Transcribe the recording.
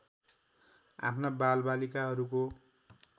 आफ्ना बालबालिकाहरूको